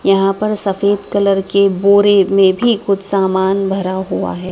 यहां पर सफ़ेद कलर के बोरे में भी कुछ सामान भरा हुआ है।